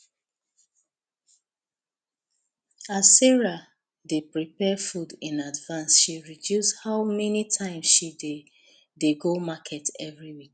as sarah dey prepare food in advance she reduce how many times she dey dey go market every week